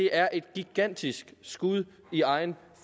er et gigantisk skud i egen